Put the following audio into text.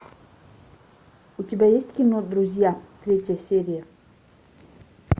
у тебя есть кино друзья третья серия